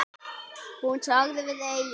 Hún sagði við Eyjólf